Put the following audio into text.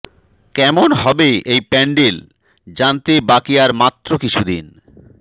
কেমন হবে এই প্যান্ডেল জানতে বাকি আর মাত্র কিছুদিন